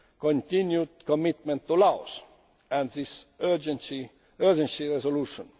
continued commitment to Laos and this urgency resolution.